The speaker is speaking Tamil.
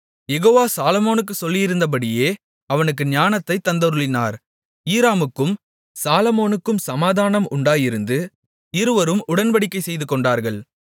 யெகோவா சாலொமோனுக்குச் சொல்லியிருந்தபடியே அவனுக்கு ஞானத்தைத் தந்தருளினார் ஈராமுக்கும் சாலொமோனுக்கும் சமாதானம்உண்டாயிருந்து இருவரும் உடன்படிக்கை செய்துகொண்டார்கள்